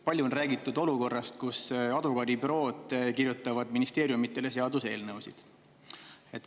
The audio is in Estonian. Palju on räägitud olukorrast, kus advokaadibürood kirjutavad ministeeriumidele seaduseelnõusid.